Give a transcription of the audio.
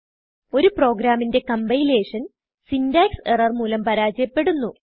ഒരു പ്രോഗ്രാമിന്റെ compilation syntax error മൂലം പരാജയപ്പെടുന്നു